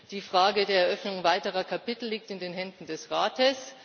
Die Frage der Eröffnung weiterer Kapitel liegt in den Händen des Rates.